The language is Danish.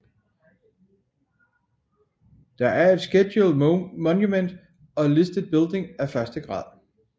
Det er et Scheduled monument og listed building af første grad